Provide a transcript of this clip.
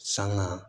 Sanga